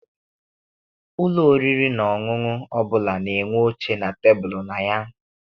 Ụlọ oriri na ọṅụṅụ ọbụla na-enwe oche na tebulu na ya.